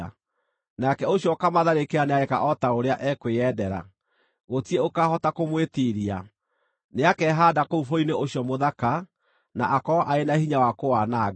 Nake ũcio ũkaamatharĩkĩra nĩageeka o ta ũrĩa ekwĩendera; gũtirĩ ũkaahota kũmwĩtiiria. Nĩakehaanda kũu Bũrũri-inĩ ũcio Mũthaka na akorwo arĩ na hinya wa kũwananga.